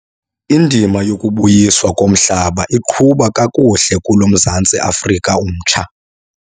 Indima yokubuyiswa komhlaba iqhuba kakuhle kulo Mzantsi Afrika mtsha.